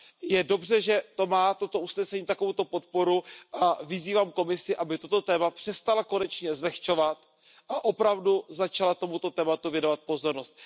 Je dobře, že má toto usnesení takovou podporu, a vyzývám Komisi, aby toto téma přestala konečně zlehčovat a opravdu začala tomuto tématu věnovat pozornost.